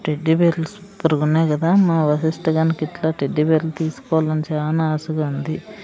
టెడ్డీబేర్లు సూపర్గున్నాయి గదా మా వశిష్ఠ గానికి ఇట్ల టెడ్డీబేర్లు తీసుకోవాలని చానా ఆశగా ఉంది.